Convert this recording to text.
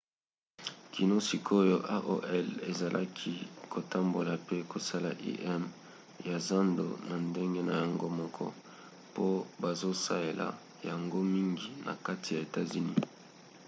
kino sikoyo aol ezalaki kotambola pe kosala im ya zando na ndenge na yango moko po bazosaela yango mingi na kati ya etats-unis